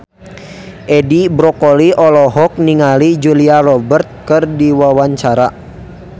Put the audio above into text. Edi Brokoli olohok ningali Julia Robert keur diwawancara